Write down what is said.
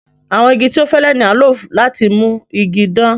Àwọn igi tó fẹ́lẹ̀ ni a ń lọ láti mú ìgi dán.